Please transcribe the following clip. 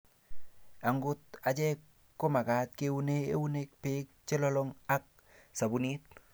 akot achek ko mekat keune eunek beek che lolong ak sabunit